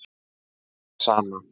Það sama